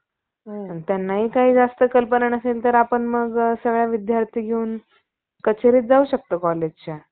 कित्येक भटांनी, चव्हाड्यातील मारुतीसारख्या महावीर, महावीरांच्या देऊळी रात्री बसून मोठा धार्मिकपणाचा